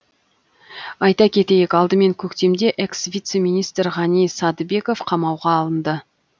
айта кетейік алдымен көктемде экс вице министр ғани садыбеков қамауға алынды